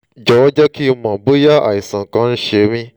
jọ̀wọ́ jẹ́ kí n mọ̀ bóyá àìsàn kan ń ṣe mí